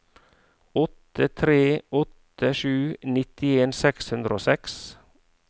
åtte tre åtte sju nittien seks hundre og seks